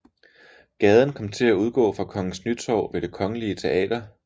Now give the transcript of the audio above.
Gaden kom til at udgå fra Kongens Nytorv ved Det Kongelige Teater